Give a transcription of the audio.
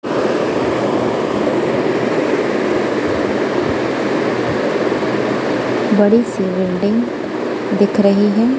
बड़ी सी बिल्डिंग दिख रही है।